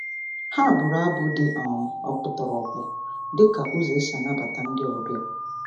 Ha bụrụ abụ dị um ọkpụtọrọkpụ dị ka ụzọ e si anabata ndị ọbịa.